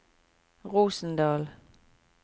Rosendal